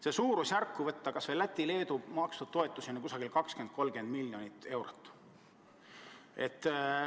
See suurusjärk, kui aluseks võtta kas või Läti ja Leedu makstud toetused, on 20–30 miljonit eurot.